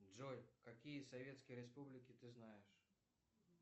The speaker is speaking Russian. джой какие советские республики ты знаешь